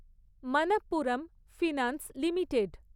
Manappuram finance limited